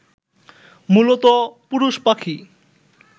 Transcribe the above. মূলত পুরুষ পাখি